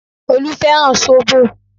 Olú fẹ́ràn zobo